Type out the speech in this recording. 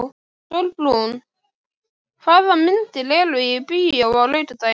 Sólbrún, hvaða myndir eru í bíó á laugardaginn?